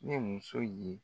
Ni muso ye